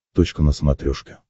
точка на смотрешке